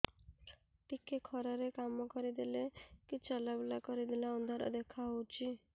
ଟିକେ ଖରା ରେ କାମ କରିଦେଲେ କି ଚଲବୁଲା କରିଦେଲେ ଅନ୍ଧାର ଦେଖା ହଉଚି